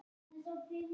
Þakka ykkur fyrir!